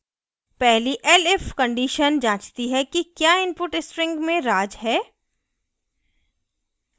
पहली elif condition जाँचती है कि the input string में raj है